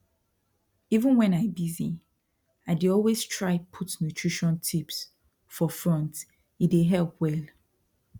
even when i busy i dey always try put nutrition tips for fronte dey help well